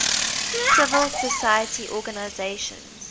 civil society organizations